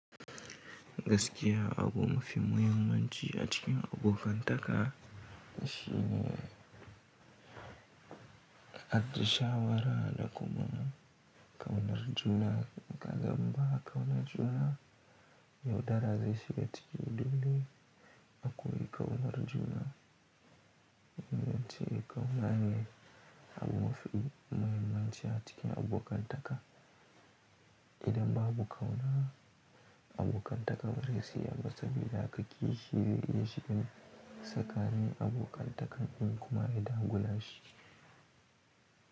Gaskiya abu mafi muhimmanci a cikin abokan taka shine har da shawara da komona. Kaunar juna, in ka zamba kaunar juna, yaudara zai shiga cikin dole akwai kaunar juna. Muhimmanci kauwa ne abu mafi muhimmanci a cikin abokan taka. Idan babu kauwa, abokan takar zai siyan masa, idan aka ƙi shi zai iya cikin saka ni abokan takan ɗin kuma idan guda shi.